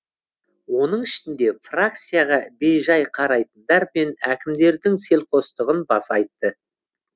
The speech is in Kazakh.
оның ішінде фракцияға бейжай қарайтындар мен әкімдердің селқостығын баса айтты